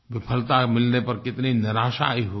विफलता मिलने पर कितनी निराशा आयी होगी